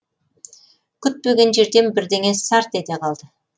күтпеген жерден бірдеңе сарт ете қалды